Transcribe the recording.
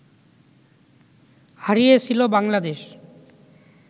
হারিয়েছিল বাংলাদেশ